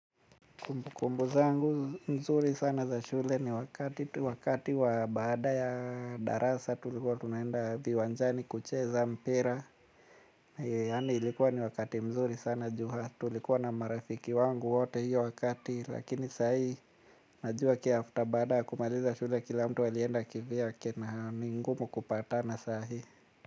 Kumbukumbu zangu mzuri sana za shule ni wakati wa baada ya darasa tulikuwa tunaenda viwanjani kucheza mpira. Yaani ilikuwa ni wakati mzuri sana ju tulikuwa na marafiki wangu wote hiyo wakati, lakini sahi najua baada kumaliza shule kila mtu alienda kivyake na ni ngumu kupatana saa hii.